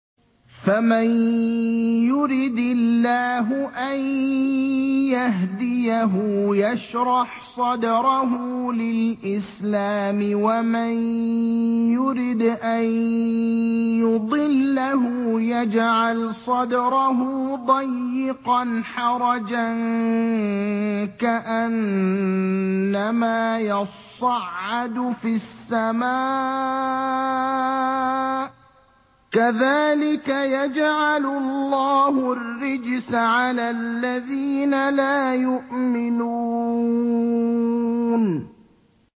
فَمَن يُرِدِ اللَّهُ أَن يَهْدِيَهُ يَشْرَحْ صَدْرَهُ لِلْإِسْلَامِ ۖ وَمَن يُرِدْ أَن يُضِلَّهُ يَجْعَلْ صَدْرَهُ ضَيِّقًا حَرَجًا كَأَنَّمَا يَصَّعَّدُ فِي السَّمَاءِ ۚ كَذَٰلِكَ يَجْعَلُ اللَّهُ الرِّجْسَ عَلَى الَّذِينَ لَا يُؤْمِنُونَ